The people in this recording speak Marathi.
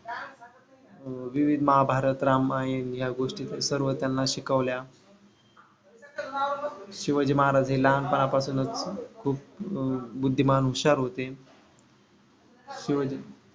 व विविध महाभारत रामायण ह्या गोष्टीतून सर्व त्यांना शिकवल्या. शिवाजी महाराज हे लहानपणा पासूनच खूप बुद्धिमान हुशार होते. शिव